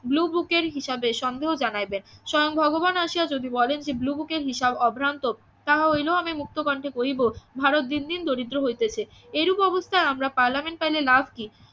ব্লুবুকের হিসাবে সন্দেহ জানাইবেন স্বয়ং ভগবান আসিয়া যদি বলেন যে ব্লুবুকের হিসাব অভ্রান্ত তাহা হইলেও আমি মুক্ত কণ্ঠে বলিব ভারত দিন দিন দরিদ্র হইতেছে এরূপ অবস্থায় আমরা পার্লামেন্ট ফাইলে লাভ কি